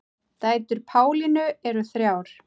Dætur Pálínu eru þrjár.